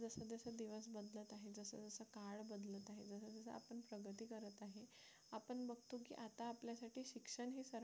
आता आपल्यासाठी शिक्षण हे सर्व